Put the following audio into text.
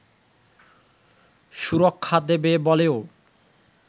সুরক্ষা দেবে বলেও